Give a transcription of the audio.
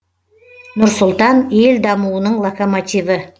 нұр сұлтан ел дамуының локомотиві